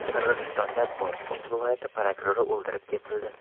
Qirg‘izistonda Botken viloyati prokurori o‘ldirib ketildi.